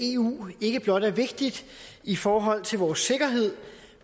eu ikke blot er vigtigt i forhold til vores sikkerhed